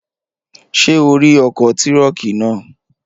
Ṣé o rí ọkọ̀ tírọ̀kì náà?